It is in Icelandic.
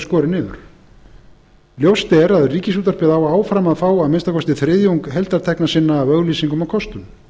niður ljóst er að ríkisútvarpið á áfram að fá að minnsta kosti þriðjung heildartekna sinna af auglýsingum og kostun